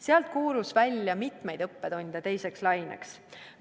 Sealt koorus välja mitmeid õppetunde teiseks laineks.